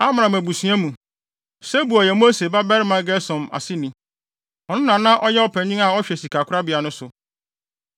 Amram abusua mu, Sebuel yɛ Mose babarima Gersom aseni. Ɔno na na ɔyɛ ɔpanyin a ɔhwɛ sikakorabea no so.